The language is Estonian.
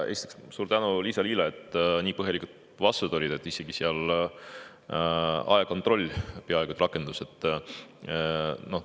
Esiteks, suur tänu Liisa-Lyle, et tal nii põhjalikud vastused olid, isegi ajakontroll peaaegu et rakendus.